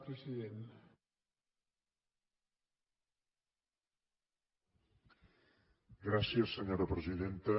gràcies senyora presidenta